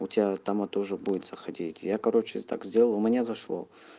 у тебя там тоже будет заходить я короче так сделаю у меня зашло